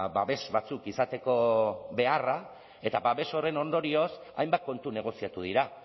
babes batzuk izateko beharra eta babes horren ondorioz hainbat kontu negoziatu dira